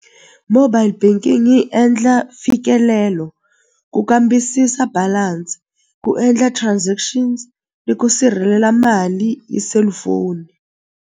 Mobile banking yi endla mfikelelo, ku kambisisa balance, ku endla transactions ni ku sirhelela mali hi selufoni.